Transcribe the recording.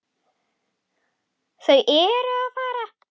Þau eru fá.